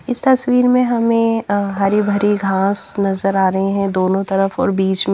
इस तस्वीर में हमें अ हरी भरी घांस नजर आ रही हैं दोनों तरफ और बीच में--